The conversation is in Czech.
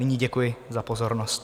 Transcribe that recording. Nyní děkuji za pozornost.